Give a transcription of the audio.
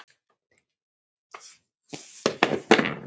Elska þig!